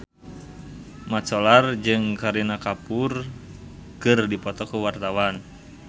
Mat Solar jeung Kareena Kapoor keur dipoto ku wartawan